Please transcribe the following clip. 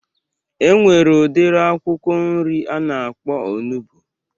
E nwere udiri akwụkwọ nri a na-akpọ onugbu